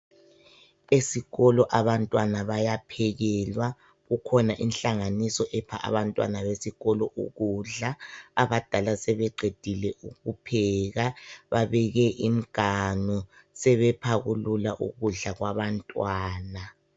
Ezikolo abantwana bayaphekelwa , kukhona inhlanganiso epha abantwana besikolo ukudla. Abadala sebeqedile ukupheka babeke imiganu sebephakulula ukudla kwabantwana.